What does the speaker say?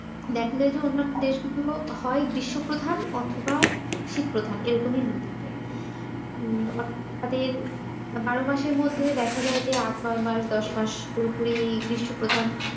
দেখলে তো উন্নত দেশগুলো হয় গ্রীষ্মপ্রধান অথবা শীত প্রধান এরকমই হয়ে থাকে হম তাদের বারো মাসের মধ্যে দেখা যায় যে আট নয় মাস দশ মাস পুরোপুরি গ্রীষ্মপ্রধান।